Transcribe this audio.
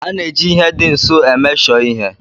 A na-eji ihe dị nso emeshọ ihe.